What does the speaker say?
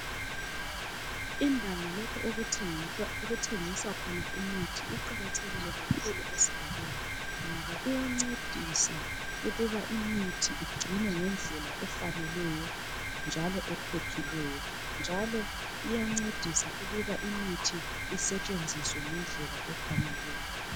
Indawo lapho okuthengiswa khona imithi iqakathekile kakhulu esigabeni ngoba iyancedisa ukuba imithi igcinwe ngendlela efaneleyo njalo ephephileyo. Iyancedisa njalo ukuthi imithi isetshenziswe ngendlela efaneleyo.